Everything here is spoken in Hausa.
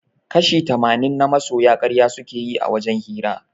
Kashi tamanin na masoya karya suke yi a wajen hira